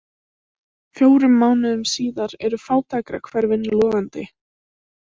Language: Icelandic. Fjórum mánuðum síðar eru fátækrahverfin logandi.